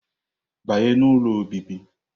Banye n'ụlọ obibi!